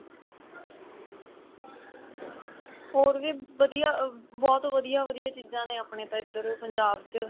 ਹੋਰ ਵੀ ਵਧੀਆ ਬਹੁਤ ਵਧੀਆ ਵਧੀਆ ਚੀਜ਼ਾ ਨੇ ਆਪਣੇ ਤਾਂ ਇੱਧਰ ਪੰਜਾਬ ਚ